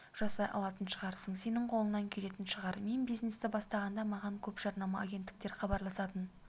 жасай алатын шығарсың сенің қолыңнан келетін шығар мен бизнесті бастағанда маған көп жарнама агенттіктері хабарласатын